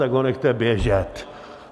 Tak ho nechte běžet.